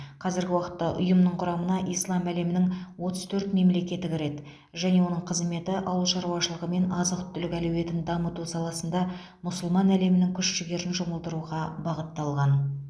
қазіргі уақытта ұйымның құрамына ислам әлемінің отыз төрт мемлекеті кіреді және оның қызметі ауыл шаруашылығы мен азық түлік әлеуетін дамыту саласында мұсылман әлемінің күш жігерін жұмылдыруға бағытталған